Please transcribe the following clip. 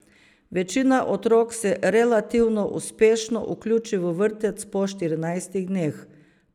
Večina otrok se relativno uspešno vključi v vrtec po štirinajstih dneh.